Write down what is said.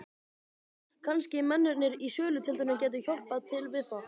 Kannski mennirnir í sölutjaldinu gætu hjálpað til við það.